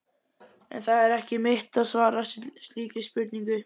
En það er ekki mitt að svara slíkri spurningu.